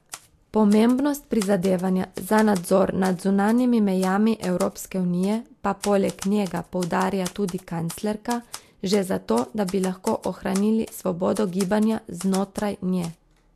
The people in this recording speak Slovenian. Pomembnost prizadevanja za nadzor nad zunanjimi mejami Evropske unije pa poleg njega poudarja tudi kanclerka, že zato, da bi lahko ohranili svobodo gibanja znotraj nje.